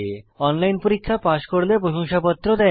online পরীক্ষা pass করলে প্রশংসাপত্র দেয়